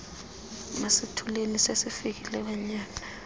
masithuleni sesifikile kwanyana